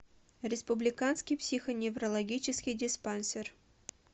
республиканский психоневрологический диспансер